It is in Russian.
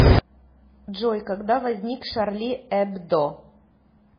джой когда возник шарли эбдо